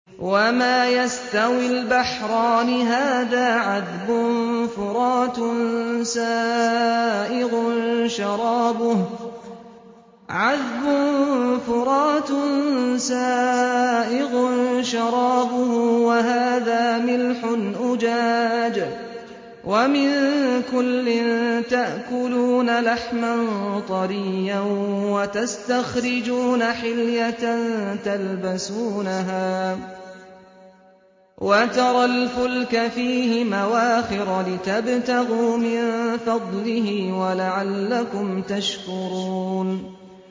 وَمَا يَسْتَوِي الْبَحْرَانِ هَٰذَا عَذْبٌ فُرَاتٌ سَائِغٌ شَرَابُهُ وَهَٰذَا مِلْحٌ أُجَاجٌ ۖ وَمِن كُلٍّ تَأْكُلُونَ لَحْمًا طَرِيًّا وَتَسْتَخْرِجُونَ حِلْيَةً تَلْبَسُونَهَا ۖ وَتَرَى الْفُلْكَ فِيهِ مَوَاخِرَ لِتَبْتَغُوا مِن فَضْلِهِ وَلَعَلَّكُمْ تَشْكُرُونَ